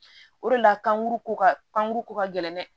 O de la kankuru ko ka kan ko ka gɛlɛ